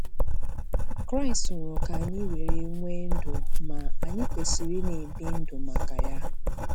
Kraịst nwụrụ ka anyị were nwee ndụ ma anyị kwesịrị ị na-ebi ndụ maka Ya.